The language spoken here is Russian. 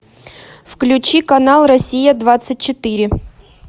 включи канал россия двадцать четыре